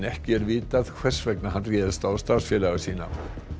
ekki er vitað hvers vegna hann réðst á starfsfélaga sína